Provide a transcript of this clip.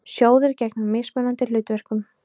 Sjóðir gegna mismunandi hlutverkum.